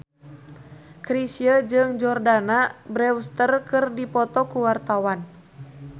Chrisye jeung Jordana Brewster keur dipoto ku wartawan